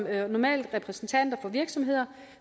er normalt repræsentanter for virksomheder